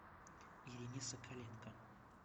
ирине соколенко